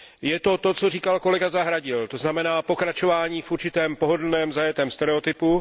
Je to to, co říkal kolega Zahradil, to znamená pokračování v určitém pohodlném, zajetém stereotypu.